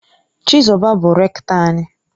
Chizoba bu Rektọ anyi.